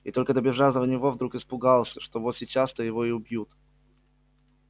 и только добежав до него вдруг испугался что вот сейчас то его и убьют